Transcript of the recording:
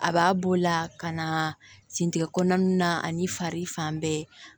A b'a b'o la ka na sinitigɛ kɔnɔna na ani fari fan bɛɛ